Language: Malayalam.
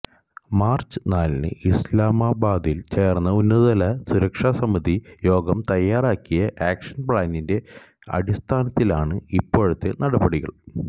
മാര്ച്ച് നാലിന് ഇസ്ലാമാബാദില് ചേര്ന്ന ഉന്നതതല സുരക്ഷാ സമിതി യോഗം തയ്യാറാക്കിയ ആക്ഷന് പ്ലാനിന്റെ അടിസ്ഥാനത്തിലാണ് ഇപ്പോഴത്തെ നടപടികള്